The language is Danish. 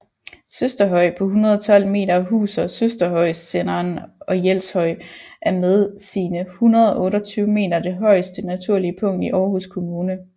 Søsterhøj på 112 m huser Søsterhøjsenderen og Jelshøj er med sine 128 m det højeste naturlige punkt i Aarhus Kommune